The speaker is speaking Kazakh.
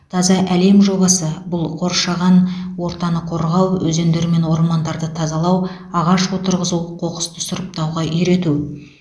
таза әлем жобасы бұл қоршаған ортаны қорғау өзендер мен ормандарды тазалау ағаш отырғызу қоқысты сұрыптауға үйрету